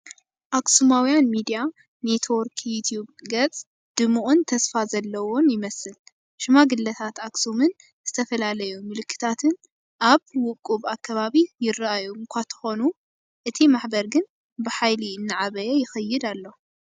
ኣክሱማዊያን ሚድያ ኔትወርክ ዩቱብ ገፅ ድሙቕን ተስፋ ዘለዎን ይመስል። ሽማግለታት ኣኽሱምን ዝተፈላለዩ ምልክታትን ኣብ ውቁብ ኣከባቢ ይርኣዩ እኳ እንተኾኑ፡ እቲ ማሕበር ግን ብሓይሊ እናዓበየ ይኸይድ ኣሎ።